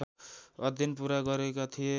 अध्ययन पुरा गरेका थिए